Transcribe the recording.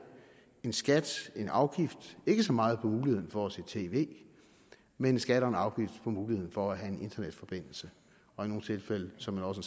en skat en afgift ikke så meget på muligheden for at se tv men en skat og en afgift på muligheden for have en internetforbindelse og i nogle tilfælde såmænd også